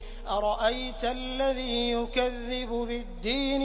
أَرَأَيْتَ الَّذِي يُكَذِّبُ بِالدِّينِ